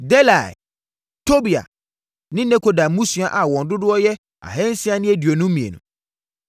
Delaia Tobia ne Nekoda mmusua a w n dodo y tcr2 652